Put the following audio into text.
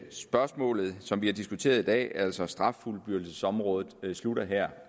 spørgsmålet som vi har diskuteret i dag altså straffuldbyrdelsesområdet slutter her